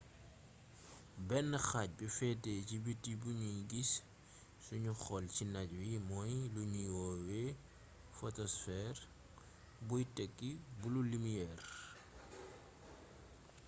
benn xaaj bi feete si biti buñuy gis sunuy xool ci naaj wi moom lañuy woowee fotosfeer buy tekki bulu limiyeer